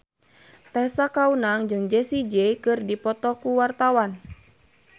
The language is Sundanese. Tessa Kaunang jeung Jessie J keur dipoto ku wartawan